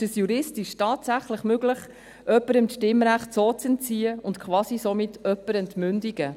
Ist es juristisch tatsächlich möglich, jemandem das Stimmrecht so zu entziehen und somit jemanden quasi zu entmündigen?